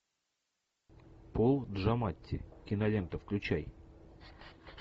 пол джаматти кинолента включай